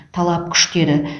талап күшті еді